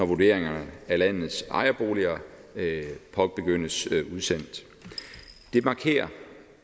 vurderinger af landets ejerboliger påbegyndes det markerer